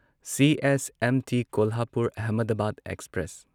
CSMT Kolhapur Ahmedabad express